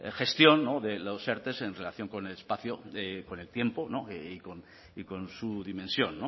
gestión de los erte en relación con el espacio con el tiempo no y con su dimensión